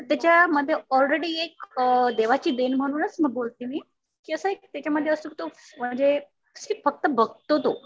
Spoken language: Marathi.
तर त्याच्या मध्ये ऑलरेडी एक देवाची देण म्हणूनच एक बोलते मी कि असं एक त्याच्या मध्ये फक्त बघतो तो